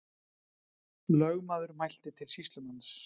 Lögmaður mælti til sýslumanns.